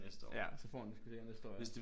Ja så får han den sgu næste år ja